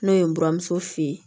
N'o ye n buramuso fe yen